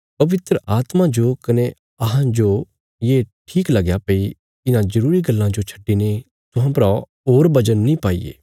पवित्र आत्मा जो कने अहां जोये ठीक लगया भई इन्हां जरूरी गल्लां जो छड्डिने तुहां परा कने बजन नीं पाईये